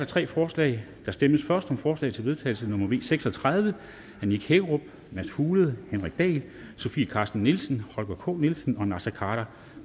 tre forslag der stemmes først om forslag til vedtagelse nummer v seks og tredive af nick hækkerup mads fuglede henrik dahl sofie carsten nielsen holger k nielsen og naser khader